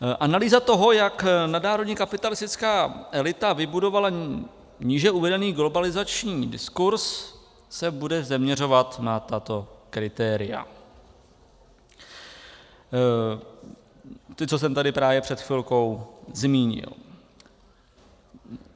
Analýza toho, jak nadnárodní kapitalistická elita vybudovala níže uvedený globalizační diskurs, se bude zaměřovat na tato kritéria - ta, co jsem tady právě před chvilkou zmínil.